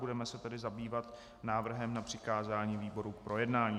Budeme se tedy zabývat návrhem na přikázání výborům k projednání.